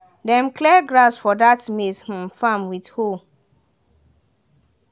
dem clear grass for that maize um farm with hoe.